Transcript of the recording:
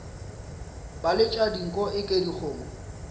ba letša dinko eke dikgomo